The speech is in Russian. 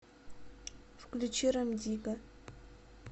включи рем дигга